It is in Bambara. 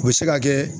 O bɛ se ka kɛ